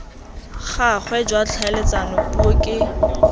gagwe jwa tlhaeletsano puo ke